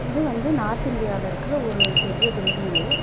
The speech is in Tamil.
இது வந்து நார்த் இந்டியால இருக்கற ஒரு பெரிய பில்டிங்கு .